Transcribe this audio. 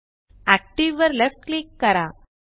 active वर left click करा